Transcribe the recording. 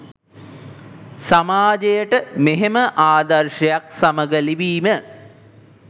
සමාජයට මෙහෙම ආදර්ශයක් සමග ලිවීම